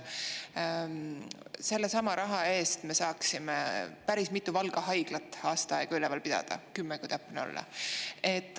Sellesama raha eest me saaksime näiteks päris mitut Valga haiglat aasta aega üleval pidada – kümmet, kui täpne olla.